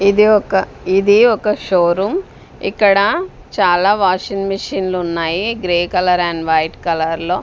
ఇది ఒక ఇది ఒక షో రూం ఇక్కడ చాలా వాషింగ్ మెషిన్ లు ఉన్నాయి grey colour and white colour లో.